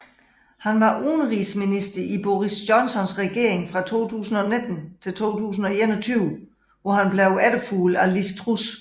Han var udenrigsminister i Boris Johnsons regering fra 2019 til 2021 hvor han blev efterfulgt af Liz Truss